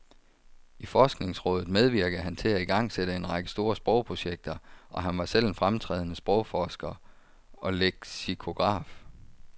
I forskningsrådet medvirkede han til at igangsætte en række store sprogprojekter, og han var selv en fremtrædende sprogforsker og leksikograf.